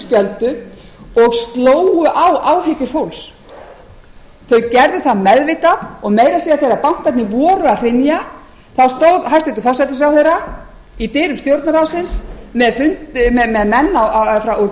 skjöldu og slógu á áhyggjur fólks þau gerðu það meðvitað og meira að segja þegar bankarnir voru að hrynja stóð hæstvirtur forsætisráðherra í dyrum stjórnarráðsins með menn úr